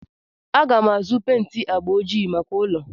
Aga m azụ pent agba ojii maka ụlọ.